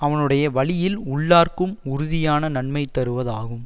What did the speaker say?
அவனுடைய வழியில் உள்ளார்க்கும் உறுதியான நன்மை தருவதாகும்